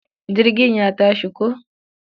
Jirgin ya tashi ko.